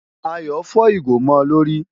Ayọ̀ fọ́ ìgò mọ́ ọ lórí.